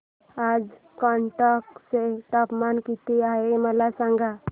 आज कर्नाटक चे तापमान किती आहे मला सांगा